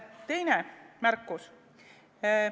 Teine märkus.